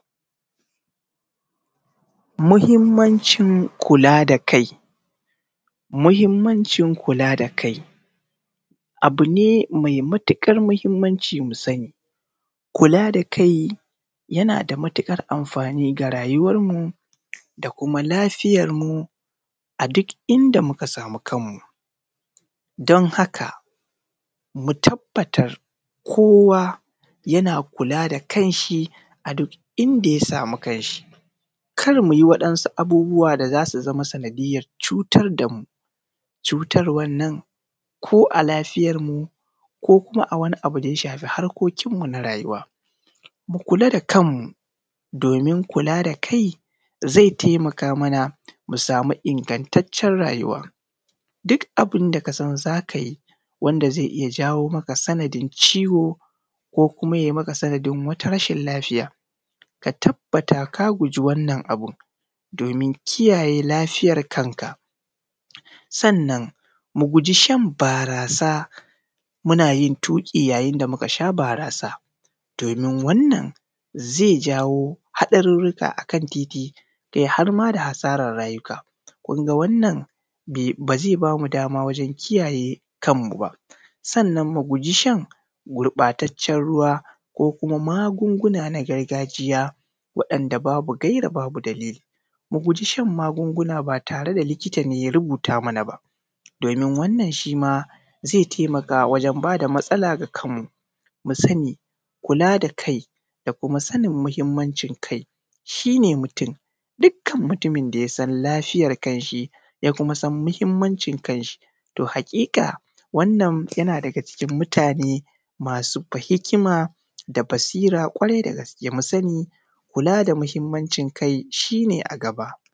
Muhimancin kula da kai. Muhimancin kula da kai abu ne mai matuƙar muhimmanci mu sani. Kula da kai yana da matuƙar amfani ga rayuwar mu da kuma lafiyarmu a duk inda muka sami kanmu. Don haka mu tabbatar kowa yana kula da kan shi a duk inda ya samu ka shi. Kar mu yi waɗansu abubuwa da za su zamo sanadiyar cutar da mu, cutarwan nan ko a lafiyar mu ko kuma a wani abun da ya shafe harkokin mu na rayuwa. Mu kula da kanmu domin kula da kai zai taimaka mana mu samu ingantaccen rayuwan. Duk abin da kasan za ka yi wanda zai jawo maka sanadin ciwo, ko kuma yai maka sanadin wata rashin lafiya, ka tabata ka guji wannan abun domin kiyaye lafiyar kanka. Sannan mu guji shan barasa muna yin tuki yayin da muka sha barasa, domin wannan zai jawo haɗaruruka akan titi har ma da asaran rayuka. Kun ga wannan ba zai bamu damawajen kiyaye kan mu ba. Sannan mu guji shan gurɓatacen ruwa ko kuma magunguna na gargajiya waɗanda babu gaira babu dalili. Mu guji shan magunguna ba tare da likita ne ya rubuta mana ba, domin wannan shi ma zai taimaka wajan ba da matsala ga kanmu. Mu sani kula da kai da kuma sanin muhimmancin kai shi ne mutun. Dukan mutumin da yasan lafiyan kan shi, ya kuma san muhimmancin kan shi to haƙiƙa wannan yana daga cikin mutane masu hikima da basira ƙwarai da gaske. Mu sani kula da muhimmancin kai shi ne a gaba.